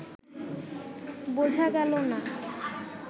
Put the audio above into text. বোঝা গেল না